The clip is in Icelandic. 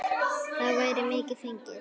Þá væri mikið fengið.